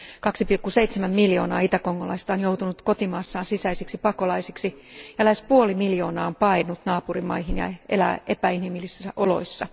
2,7 miljoonaa itäkongolaista on joutunut kotimaassaan sisäisiksi pakolaisiksi, ja lähes puoli miljoonaa on paennut naapurimaihin ja elää epäinhimillisissä oloissa.